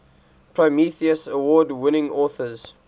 prometheus award winning authors